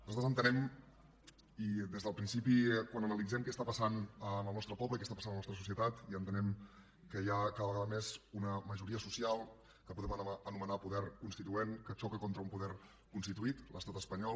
nosaltres entenem i des del principi quan analitzem què passa al nostre poble i què passa a la nostra societat que hi ha cada vegada més una majoria social que podem anomenar poder constituent que xoca contra un poder constituït l’estat espanyol